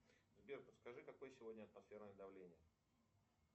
сбер подскажи какое сегодня атмосферное давление